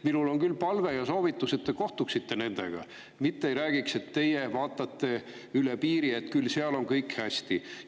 Minul on küll palve ja soovitus, et te kohtuksite nendega, mitte ei räägiks, kuidas teie vaatate üle piiri ja et küll seal on kõik hästi.